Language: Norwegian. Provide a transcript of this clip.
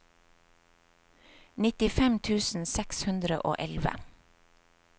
nittifem tusen seks hundre og elleve